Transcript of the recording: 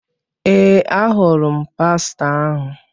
Ee, ahụrụ m pastọ ahụ.